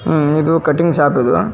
ಆಹ್ಹ್ ಇದು cutting shop ಇದೆ.